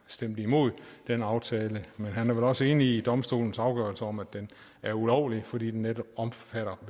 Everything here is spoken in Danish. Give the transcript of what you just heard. stemt imod den aftale men han er vel også enig i domstolens afgørelse om at den er ulovlig fordi den netop omfatter